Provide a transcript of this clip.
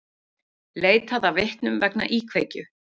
Leitað að vitnum vegna íkveikju